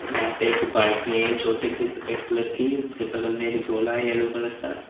यहां पे एक बाल्टी है छोटी सी सफेद कलर की उसके बगल में एक झोला है येलो कलर का।